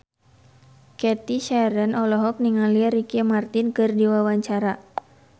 Cathy Sharon olohok ningali Ricky Martin keur diwawancara